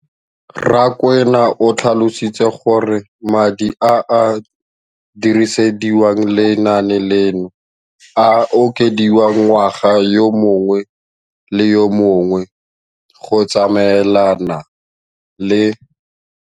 Rakwena o tlhalositse gore madi a a dirisediwang lenaane leno a okediwa ngwaga yo mongwe le yo mongwe go tsamaelana le.